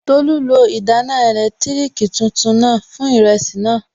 Tolú lo ìdáná ẹ̀lẹ́tírìkì tuntun náà fún ìrẹsì náà